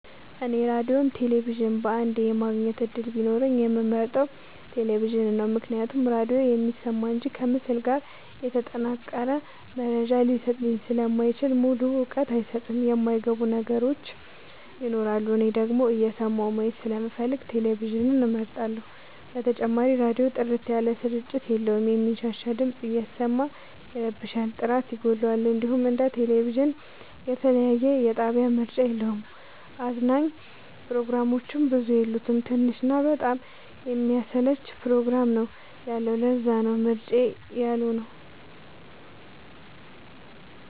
እኔ ራዲዮም ቴሌቪዥንም በአንዴ የማግኘት እድል ቢኖረኝ የምመርጠው። ቴሌቪዥንን ነው ምክንያቱም ራዲዮ የሚሰማ እንጂ ከምስል ጋር የተጠናቀረ መረጃ ሊሰጠኝ ስለማይችል ሙሉ እውቀት አይሰጥም የማይ ገቡን ነገሮች ይኖራሉ። እኔ ደግሞ እየሰማሁ ማየት ስለምፈልግ ቴሌቪዥንን እመርጣለሁ። በተጨማሪም ራዲዮ ጥርት ያለ ስርጭት የለውም የሚንሻሻ ድምፅ እያሰማ ይረብሻል ጥራት ይጎለዋል። እንዲሁም እንደ ቴሌቪዥን የተለያየ የጣቢያ ምርጫ የለውም። አዝናኝ ፕሮግራሞችም ብዙ የሉት ትንሽ እና በጣም የሚያሰለች ፕሮግራም ነው ያለው ለዛነው ምርጫዬ ያልሆ ነው።